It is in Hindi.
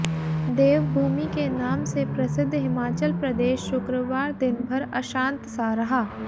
देवभूमि के नाम से प्रसिद्ध हिमाचल प्रदेश शुक्रवार दिन भर अंशात सा रहा